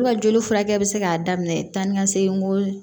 U ka joli furakɛ bɛ se k'a daminɛ tan ni ka segin ko